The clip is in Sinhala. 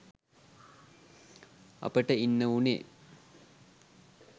අපට ඉන්න වුණේ